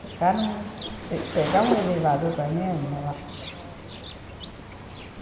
Ficar num... Pegar um elevador para mim é morte.